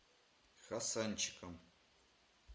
хасанчиком